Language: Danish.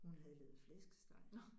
Hun havde lavet flæskesteg